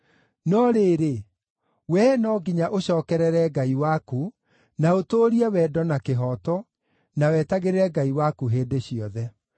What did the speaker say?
No rĩrĩ, wee no nginya ũcookerere Ngai waku, na ũtũũrie wendo na kĩhooto, na wetagĩrĩre Ngai waku hĩndĩ ciothe.